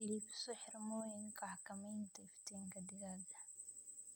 Iibso xirmooyinka xakamaynta iftiinka digaagga.